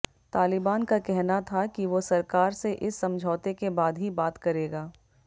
तालिबान का कहना था कि वो सरकार से इस समझौते के बाद ही बात करेगा